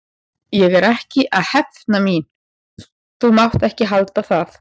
Ég er ekki að hefna mín, þú mátt ekki halda það.